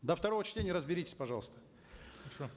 до второго чтения разберитесь пожалуйста хорошо